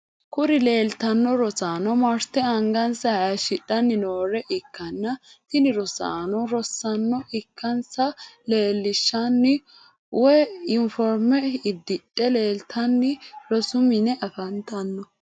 Kuri lelitano rossano maritte aniganisa hashshidhani noore ikana tini rosanono rosano ikanissa lilishanota usldano woy yinforime ididhe lelitanni rossu mine afanitano.